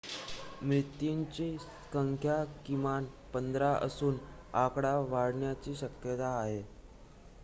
मृत्यांची संख्या किमान १५ असून आकडा वाढण्याची शक्यता आहे